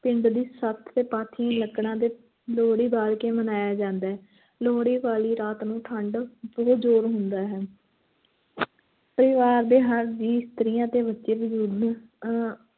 ਪਿੰਡ ਦੀ ਸੱਥ ਤੇ ਪਾਥੀਆਂ ਲੱਕੜਾਂ ਦੇ ਲੋਹੜੀ ਬਾਲ ਕੇ ਮਨਾਇਆ ਜਾਂਦਾ ਹੈ ਲੋਹੜੀ ਵਾਲੀ ਰਾਤ ਨੂੰ ਠੰਢ ਬਹੁਤ ਜ਼ੋਰ ਹੁੰਦਾ ਹੈ ਪਰਿਵਾਰ ਦੇ ਹਰ ਜੀਅ ਇਸਤਰੀਆਂ ਤੇ ਬੱਚੇ ਬਜ਼ੁਰਗ ਅਹ